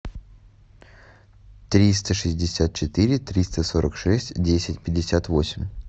триста шестьдесят четыре триста сорок шесть десять пятьдесят восемь